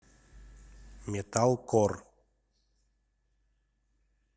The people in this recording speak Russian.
металкор